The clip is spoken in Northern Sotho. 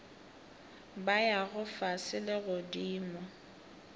ba yago fase le godimo